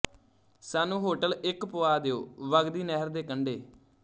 ਸਾਨੂੰ ਹੋਟਲ ਇੱਕ ਪੁਆ ਦਿਉ ਵਗਦੀ ਨਹਿਰ ਦੇ ਕੰਢੇ